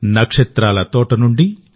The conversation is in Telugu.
నక్షత్రాల తోట నుండి